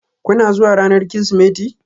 Kuna zuwa ranar Kirsimeti?